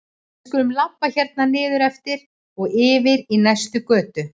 Við skulum labba hérna niður eftir og yfir í næstu götu.